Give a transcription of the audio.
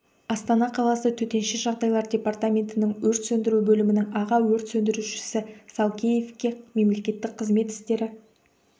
астана қаласы төтенше жағдайлар департаментінің өрт сөндіру бөлімінің аға өрт сөндірушісі салкеевке мемлекеттік қызмет істері